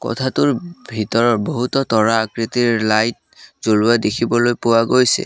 কোঠাটোৰ ভিতৰত বহুতো তৰা আকৃতিৰ লাইট জ্বলোৱা দেখিবলৈ পোৱা গৈছে।